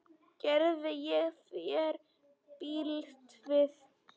Gerði ég þér bylt við?